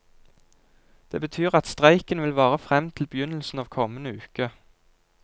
Det betyr at streiken vil vare frem til begynnelsen av kommende uke.